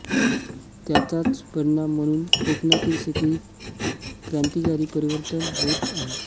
त्याचाच परिणाम म्हणून कोकणातील शेतीत क्रांतीकारी परिवर्तन होत आहे